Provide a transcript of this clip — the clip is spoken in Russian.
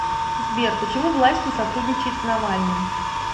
сбер почему власть не сотрудничает с навальным